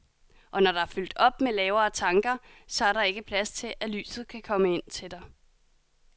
Og når der er fyldt op med lavere tanker, så er der ikke plads til, at lyset kan komme ind til dig.